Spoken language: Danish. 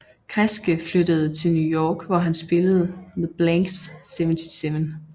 Kresge flyttede til New York hvor han spillede med Blanks 77